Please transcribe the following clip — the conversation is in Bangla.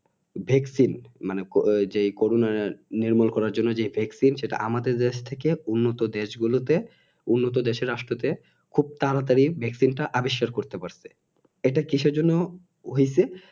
Vaccine মানে যে Corona নির্মূল করার জন্যে যে Vaccine সেটা আমাদের দেশের থেকে উন্নত দেশ গুলোতে উন্নত দেশের রাষ্ট্র তে খুব তাড়াতাড়ি Vaccine টা আবিষ্কার করতে পারছে এটা কিসের জন্য হইছে